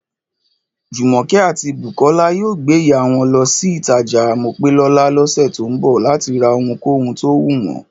Jùmọ̀kẹ́ àti Bùkọ́lá yóò gbéyàá wọn lọ sÍlé-ìtajà Mopélọ́lá lọ́sẹ̀ tó ń bọ̀ láti rohunkóhun tó wù wọ́n